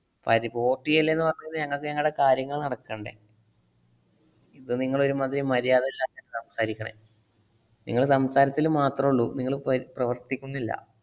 പരി~ port ചെയ്യല്ലെന്നു പറഞ്ഞുകയിഞ്ഞാൽ ഞങ്ങക്ക് ഞങ്ങടെ കാര്യങ്ങൾ നടക്കണ്ടെ? ഇത് നിങ്ങള് ഒരുമാതിരി മര്യാദയില്ലാതെയാണ് സംസാരിക്കണെ. നിങ്ങള് സംസാരത്തില് മാത്രള്ളൂ. നിങ്ങള് പരി~ പ്രവർത്തിക്കുന്നില്ല.